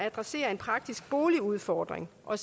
adresserer en praktisk boligudfordring og